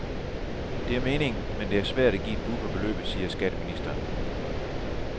Det er meningen, men det er svært at give et bud på beløbet, siger skatteministeren.